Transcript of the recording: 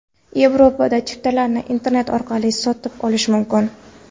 Yevropada chiptalarni internet orqali sotib olish mumkin.